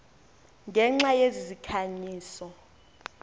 ngenxa yezi zikhanyiso